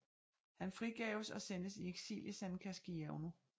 Han frigaves og sendtes i eksil i San Casciano